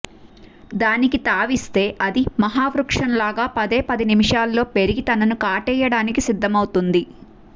దానికి తావిస్తే అది మహా వృక్షంలాగా పదే పది నిముషాల్లో పెరిగి తనని కాటేయడానికి సిద్ధమౌతుంది